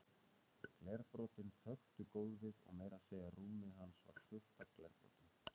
Glerbrotin þöktu gólfið og meira að segja rúmið hans var fullt af glerbrotum.